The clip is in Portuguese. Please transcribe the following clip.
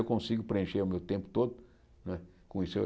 Eu consigo preencher o meu tempo todo né com isso.